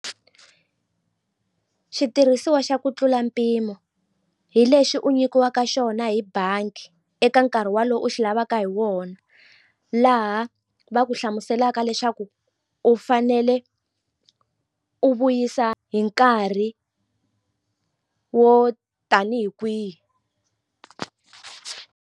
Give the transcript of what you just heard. Xitirhisiwa xa ku tlula mpimo hi lexi u nyikiwaka xona hi bangi eka nkarhi wolowo u xi lavaka hi wona laha va ku hlamuselaka leswaku u fanele u vuyisa hi nkarhi wo tanihi kwihi.